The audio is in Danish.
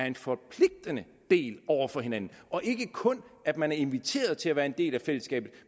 en forpligtende del over for hinanden og ikke kun at man er inviteret til at være en del af fællesskabet